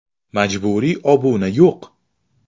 Majburiy obuna yo‘q!